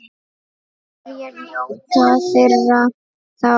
Hverjir njóta þeirra þá?